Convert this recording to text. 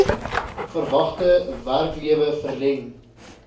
verwagte werklewe verleng